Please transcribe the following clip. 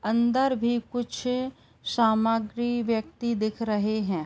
अंदर भी कुछ सामग्री व्यक्ति दिख रहे हैं।